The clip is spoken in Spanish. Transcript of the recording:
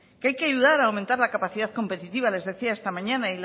qe hay que ayudar a aumentar la capacidad competitiva les decía esta mañana